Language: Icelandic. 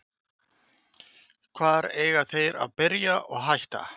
Hvar eiga þeir að byrja og hætta?